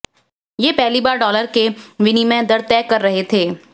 वे पहली बार डॉलर के विनिमय दर तय कर रहे थे